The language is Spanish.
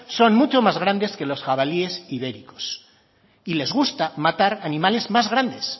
son mucho más grandes que los jabalíes ibéricos y les gusta matar animales más grandes